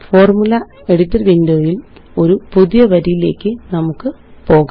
formula editor Windowല് ഒരു പുതിയ വരിയിലേയ്ക്ക് നമുക്ക് പോകാം